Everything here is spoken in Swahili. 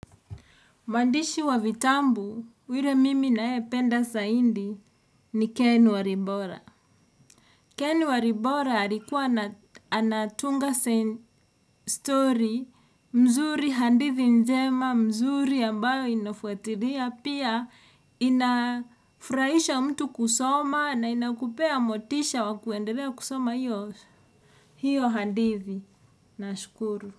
Mwandishi wa vitambu, yule mimi nae penda saindi ni Keni Waribora. Keni Waribora alikuwa anatunga sen story mzuri handithi njema, mzuri ambayo inafuatiria. Pia inafuraisha mtu kusoma na inakupea motisha wakuendelea kusoma iyo hiyo handithi. Na shukuru.